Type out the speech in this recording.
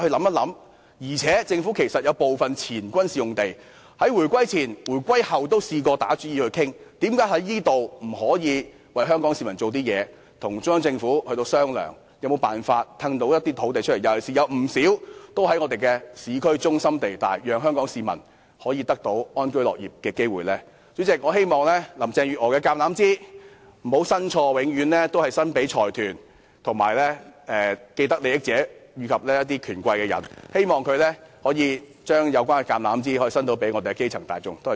為何政府不就此為香港市民下些工夫，與中央政府商量可否騰出一些軍事土地，讓香港市民得到安居樂業的機會呢？主席，我希望林鄭月娥不要伸錯橄欖枝，不要永遠只將橄欖枝向財團、既得利益者和權貴伸出。我希望她可以將橄欖枝伸向基層大眾。